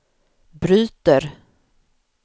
bryter